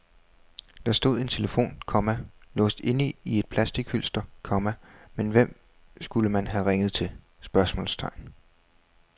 Der stod en telefon, komma låst inde i et plastichylster, komma men hvem skulle man have ringet til? spørgsmålstegn